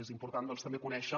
és im·portant doncs també conèixer